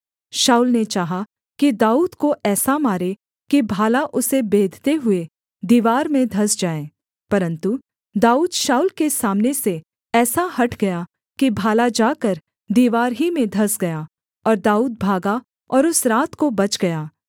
शाऊल ने चाहा कि दाऊद को ऐसा मारे कि भाला उसे बेधते हुए दीवार में धँस जाए परन्तु दाऊद शाऊल के सामने से ऐसा हट गया कि भाला जाकर दीवार ही में धँस गया और दाऊद भागा और उस रात को बच गया